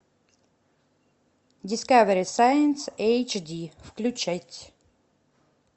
дискавери сайнс эйч ди включать